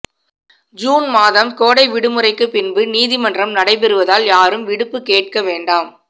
June மாதம் கோடை விடுமுறைக்கு பின்பு நீதிமன்றம் நடைபெறுவதால் யாரும் விடுப்பு கேட்க வேண்டாம்